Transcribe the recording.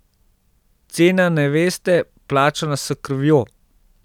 Cena neveste, plačana s krvjo.